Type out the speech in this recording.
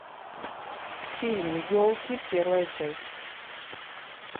фильм елки первая часть